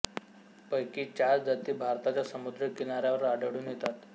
पैकी चार जाती भारताच्या समुद्री किनाऱ्यावर आढळून येतात